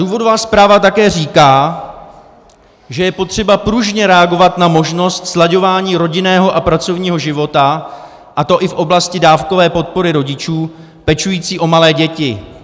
Důvodová zpráva také říká, že je potřeba pružně reagovat na možnost slaďování rodinného a pracovního života, a to i v oblasti dávkové podpory rodičů pečujících o malé děti.